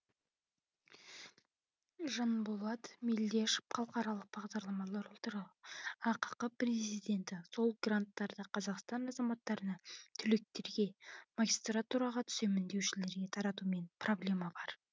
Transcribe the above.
жанболат мелдешов халықаралық бағдарламалар орталығы ақ президенті сол гранттарды қазақстан азаматтарына түлектерге магистратураға түсемін деушілерге таратумен проблема бар